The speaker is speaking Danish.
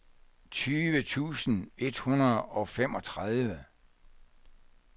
tyve tusind et hundrede og femogtredive